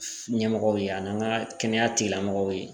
Ɲɛmɔgɔw ye ani ka kɛnɛya tigilamɔgɔw ye